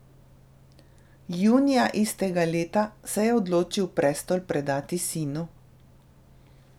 Junija istega leta se je odločil prestol predati sinu.